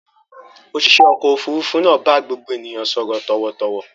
Òṣìṣẹ́ ọkọ̀-òfurufú náà bá gbogbo ènìyàn sọ̀rọ̀ tọ̀wọ̀tọ̀wọ̀.